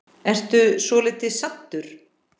Ertu svolítið saddur?